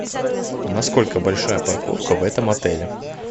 насколько большая парковка в этом отеле